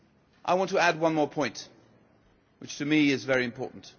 I want to add one more point, which to me is very important.